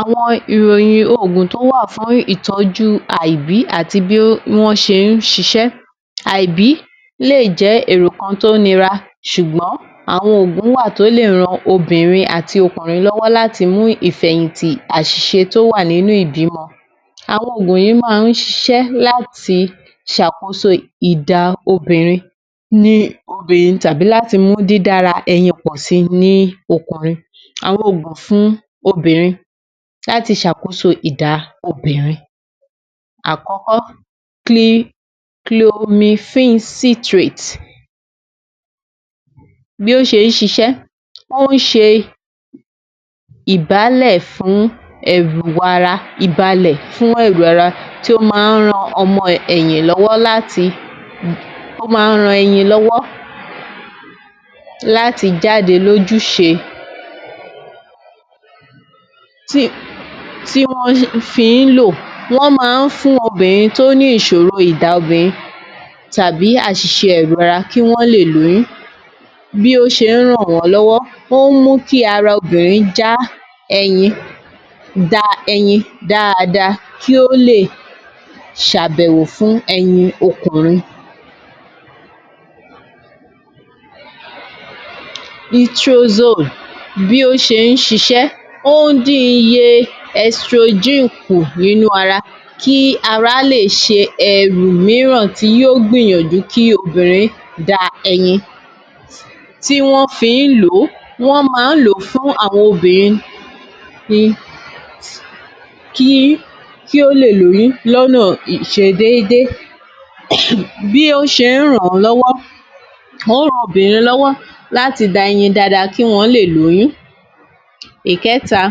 Àwọn ìròyìn ogún tó wà fún ìtọ jú ìbí àti bí wón se sí sí ibi lè jẹ ètò kan tó nira sùgbọ n àwọn ogún wà tó lè ran obìnrin àti ọkùnrin lọ wọ.́ láti fẹ yìn tí aṣẹ tó wà ní ibi mọ àwọn ogún yìí má se láti sàkóso obìnrin tàbí láti mú di dára pọ sí ní ọkùnrin àwọn ogún fún obìnrin láti se àkóso àkókò chlorinsintrate bó se sisẹ.́ oún se ìbálẹ fún ẹrù ara tí ó máa ran ẹni lọ wọ láti jáde lójú sé wón máa fún obìnrin tó ní ìsòro tàbí asìse ara kí wón lè lóyún omú kí ara obìnrin já eyin dáadáa kò lè se béwo fún ẹyin ọkùnrin litosome bí ó se sise bí iye extrogen kú nínú ara kí ara lè se tí wón fi lo wón máa lo fún àwọn obìnrin kí ó lè lóyún ní ọ nà ìsedédé bí oún se ran lọ wọ ọ ràn obìnrin lọ wọ láti dá eyin dáadáa kí wón lè lóyún ẹ kẹta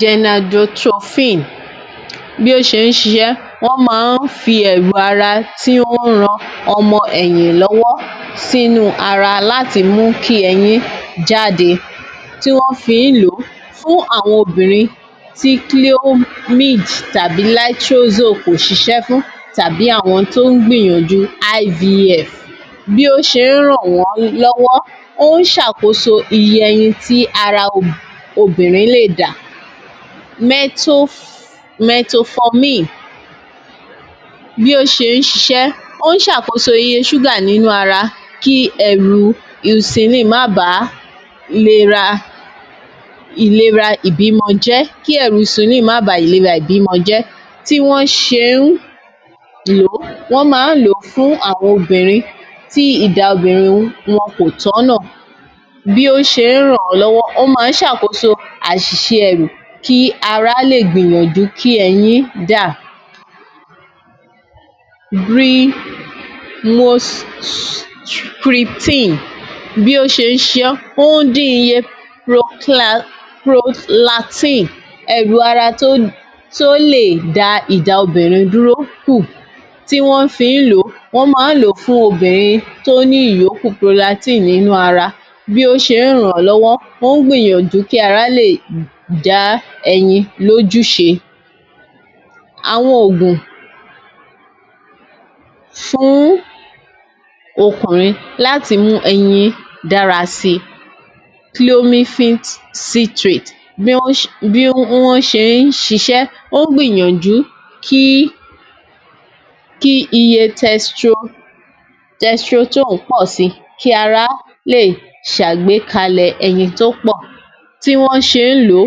gejadophine bí ó se sisẹ wón mí fi ẹrù ara tí wón máa fi ran ọmọ eyin lọ wọ sínú ara láti mú kí eyin jáde tí wón fi lo fún àwọn obìnrin tàbí àwọn tó gbìyànjú IVF bí ó se ran wón lọ wọ oún sàkóso iye eyin tí ara obìnrin lè dà metophome bí ó se sisẹ oún se àkóso iye sugar nínú ara kí ẹrù esuline má bà ìlera jẹ tí wón se lo wón máa lo fún àwọn obìnrin tí ìdá obìnrin wón kò tó no bí ó se ran lọ wọ ó má se àkóso ẹrù kí ara lè gbé yanjú eyin dà beyostringin bí ó se sisẹ prolatin ẹrù ara tó lé dáadáa ìdá obìnrin dúró kú tí wón fi lo wón máa lo fún obìnrin tó ní ìyókù brulatin nínú ara bó bá se ran lọ wọ oún gbìnyanjú kí ara eyin lójú isẹ àwọn ogún fún ọkùnrin láti mú eyin dára sí chloratin ara tó lè dà obìnrin dúró kú tí wón fi lo wón tí wón se lo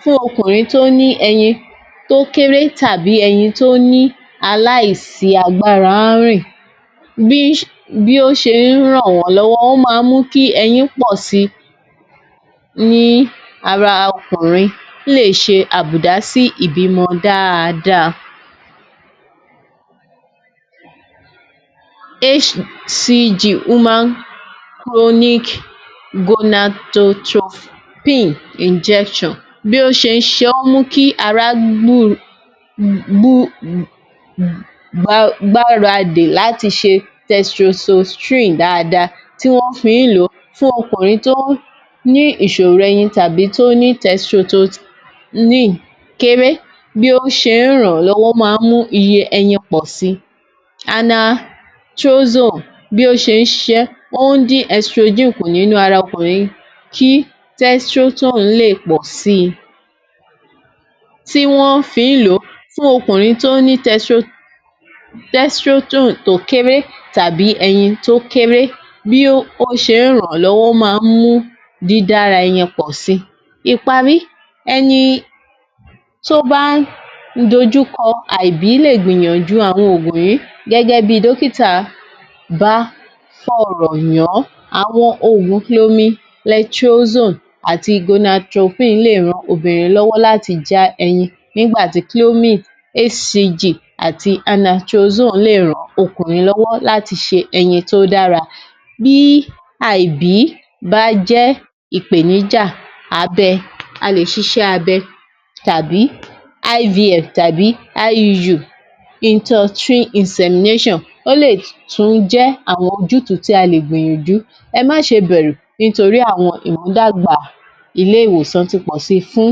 fún eyin tó kéré bí ó se ran wón lọ wọ ó máa mú kí eyin pọ sí nínú ara ọkùnrin lè se àbúdàsí ibi mọ dáadáa HCG injection bó se se o kí ara gbára di láti se testrophine dáadáa tí wón fi lo fún ọkùnrin tó ní isòro eyin tàbí tó ní testroline kéré bí ó se ran lọ wọ ó máa mú iye eyin pọ sí anatrosoam bó se se e oún di extrogen kú nínú ara ọkùnrin testrol lè pọ sí tí wón fi lo fún ọkùnrin tó ní testroto kéré tàbí eyin tó kéré bí ó se ran lọ wọ máa mú dídàra eyin pọ sí ẹni tó bá dojukọ ogún yìí gẹgẹ bí dókítà bá sọ rọ yàn àwọn ogún chlomi tetrosome àti gona tropin lè ran obìnrin lọ wọ láti já eyin nígbàtí HCG chlomi àti anatrosome lè ran lọ wọ láti se eyin tó dára bí ibi bá jẹ ipenija abẹ a lè se tàbí IVF tàbí IU ó lè tún jẹ àwọn ojútùú tí a lè gbé yànjú ẹ má se bẹrù nítorí àwọn ènìyàn dá gbà ilé ìwòsàn tí pọ sí fún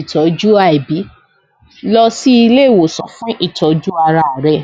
ìtọ jú ibi lọ sí ilé ìwòsàn fún ìtọ jú ara rẹ